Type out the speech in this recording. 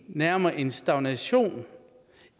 nærmere en stagnation